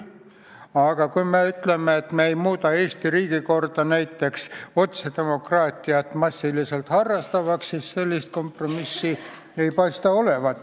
Aga kui me ütleme, et me ei muuda Eesti riigikorda näiteks massiliselt otsedemokraatiat harrastavaks, siis sellist kompromissi ei paista olevat.